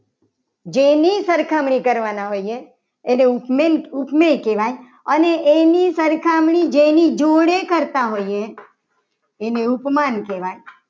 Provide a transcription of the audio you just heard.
જેની સરખામણી કરવાના હોઈએ. એને ઉપમેય કહેવાય. અને એની સરખામણી જેની જોડે કરતા હોય એને ઉપમાન કહેવાય.